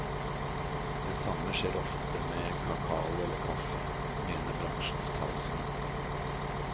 Det samme skjer ofte med kakao eller kaffe, mener bransjens talsmenn.